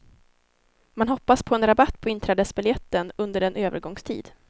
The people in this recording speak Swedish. Man hoppas på en rabatt på inträdesbiljetten under en övergångstid.